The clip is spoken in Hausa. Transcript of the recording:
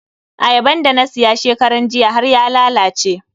Ayaban da na siya shekaran jiya har ya lalace.